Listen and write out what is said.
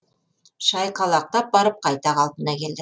шайқалақтап барып қайта қалпына келді